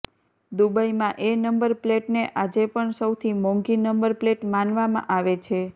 દુબઈમાં એ નંબર પ્લેટને આજે પણ સૌથી મોંઘી નંબર પ્લેટ માનવામાં આવે છે